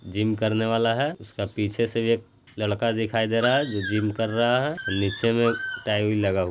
gym करने वाला हे उसका पीछे से भी एक लड़का दिखाई दे रहा है जो जिम कर रहा है निचे मे टाइल उईल लगा हु--